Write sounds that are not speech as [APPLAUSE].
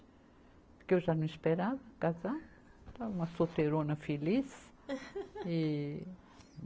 Porque eu já não esperava casar, estava solteirona feliz. [LAUGHS] e